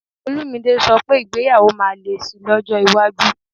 Olumide sọ pé ìgbéyàwó máa le sí i lọ́jọ́ iwájú